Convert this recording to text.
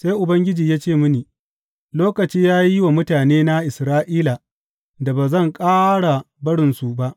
Sai Ubangiji ya ce mini, Lokaci ya yi wa mutanena Isra’ila da ba zan ƙara barinsu ba.